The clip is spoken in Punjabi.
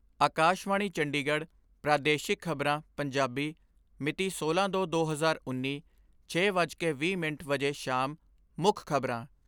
ਆਕਾਸ਼ਵਾਣੀ ਚੰਡੀਗੜ੍ਹ ਪ੍ਰਾਦੇਸ਼ਿਕ ਖਬਰਾਂ, ਪੰਜਾਬੀ ਮਿਤੀ ਸੋਲਾਂ ਦੋ ਦੋ ਹਜ਼ਾਰ ਉੱਨੀ, ਛੇ ਵੱਜ ਕੇ ਵੀਹ ਮਿੰਟ ਵਜੇ ਸ਼ਾਮ ਮੁੱਖ ਖਬਰਾਂ